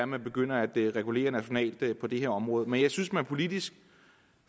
man begynder at regulere nationalt på det her område men jeg synes at man politisk